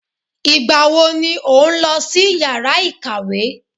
Ìgbà wo ni ó ń lọ sí yàrá ìkàwé?